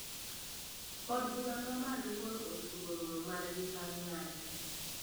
Od bura ma malo koro ochungo romo margi bang ng`anyo